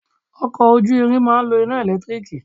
Ọkọ̀ ojú ìrìn máa ń lo iná ẹ̀lẹ́tírííkiì